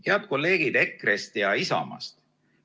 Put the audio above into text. Head kolleegid EKRE-st ja Isamaast!